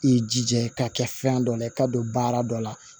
I jija k'a kɛ fɛn dɔ na i ka don baara dɔ la